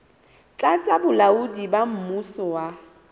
tlasa bolaodi ba mmuso wa